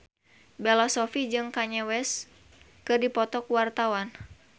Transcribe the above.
Bella Shofie jeung Kanye West keur dipoto ku wartawan